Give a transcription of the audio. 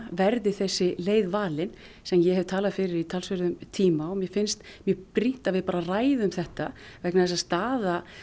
verði þessi leið valin sem ég hef talað fyrir í talsverðan tíma og mér finnst mjög brýnt að við ræðum þetta vegna þess að staða